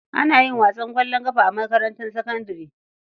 Ana yin wasan ƙwallon ƙafa a makarantar sakandare.